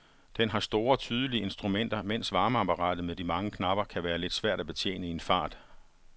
Den har store, tydelige instrumenter, mens varmeapparatet med de mange knapper kan være lidt svært at betjene i en fart.